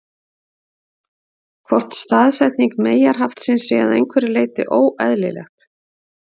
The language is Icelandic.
Hvort staðsetning meyjarhaftsins sé að einhverju leyti óeðlilegt?